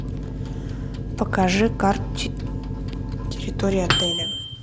покажи карту территории отеля